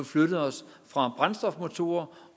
flyttet os fra brændstofmotorer